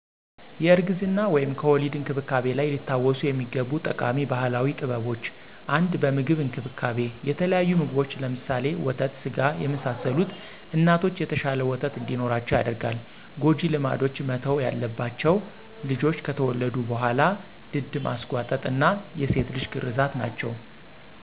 የእርግዝና/ከወሊድ እንክብካቤ ላይ ሊታወሱ የሚገቡ ጠቃሚ ባህላዊ ጥበቦች - 1 በምግብ እንክብካቤ - የተለያዩ ምግቦች (ለምሳሌ፣ ወተት ስጋ፣ የመሳሰሉት) እናቶች የተሻለ ወተት እንዲኖራቸው ያደርጋል። ሰ ጎጂ ልማዶች መተው ያለባቸው -- ልጆች ከተወለዱ በኋላ ድድ ማሰጓጠጥ እና የሴት ልጅ ግርዛት ናቸው።